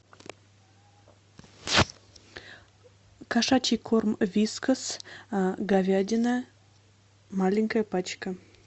кошачий корм вискас говядина маленькая пачка